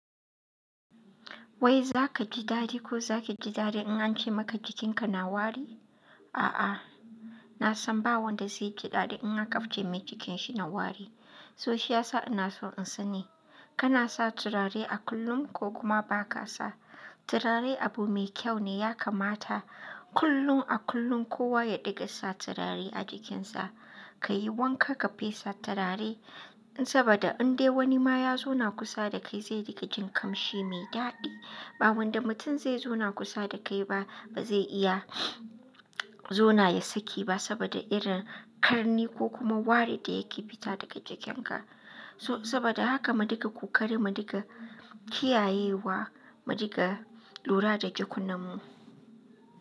Wai za ka ji daɗi ko za ki ji daɗi in an ce maka jikinka na wari? A'a, na san ba wanda zai ji daɗi in aka ce mai jikinshi na wari. So shi ya sa ina so in sani, kana sa turare a kullum ko kuma ba ka sa? Turare abu mai kyau ne ya kamata kullun a kullum kowa ya ɗiga sa turare a jikin sa. Ka yi wanka ka fesa turare, saboda in dai wani ma ya zauna kusa da kai zai ɗiga jin kamshi mai daɗi. Ba wanda mutum zai zauna kusa da kai ba, ba zai iya zauna ya saki ba saboda irin ƙarni ko kuma wari da yake fita daga jikin ka. So saboda haka mu diga kokare, mu diga kiyayewa, mu ɗiga lura da jakun nan mu.